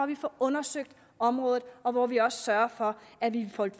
vi får undersøgt området og hvor vi også sørger for at vi får